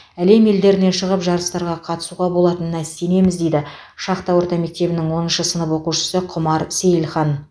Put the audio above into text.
әлем елдеріне шығып жарыстарға қатысуға болатынына сенеміз дейді шахта орта мектебінің оныншы сынып оқушысы құмар сейілхан